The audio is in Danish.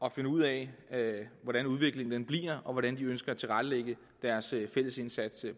at finde ud af hvordan udviklingen bliver og hvordan de ønsker at tilrettelægge deres fælles indsats